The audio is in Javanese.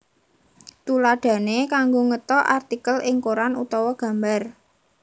Tuladhané kanggo ngethok artikel ing koran utawa gambar